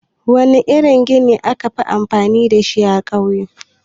Wana irin gini akafi amfani dashi a ƙauye?